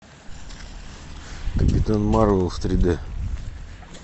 капитан марвел в три д